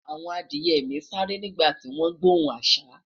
àwọn Adiye mi sááre nígbà ti gbohùn asa